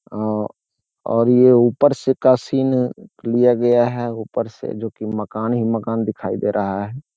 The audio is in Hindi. अ और ये ऊपर से का सीन लिया गया है ऊपर से जो कि मकान ही मकान दिखाई दे रहा है।